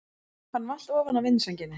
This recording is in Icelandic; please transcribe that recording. Hann valt ofan af vindsænginni!